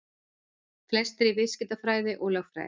Flestir í viðskiptafræði og lögfræði